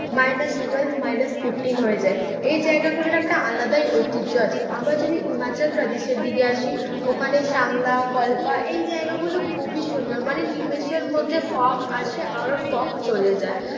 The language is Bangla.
মাইনাস টুয়েলভ মাইনাস ফিফটিন হয়ে যায়। এই জায়গাগুলোর একটা আলাদাই ঐতিহ্য আছে, আবার যদি হিমাচল প্রদেশের দিকে আসি ওখানে সাংলা, কল্পা এইজায়গা গুলো খুবই সুন্দর। মানে নিমেষের মধ্যে fog আসে আবার fog চলে যায়।